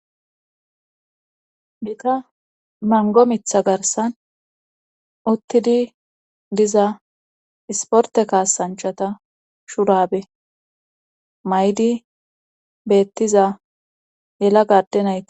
Bita mango mitha garsan uttidi diza isporte kaasanchata shuraabe maydi beettiza yela gadenay.